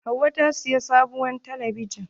Hauwa ta siyi sabuwar talabijin.